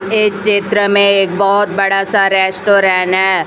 ए चित्र में एक बहोत बड़ा सा रेस्टोरेन है।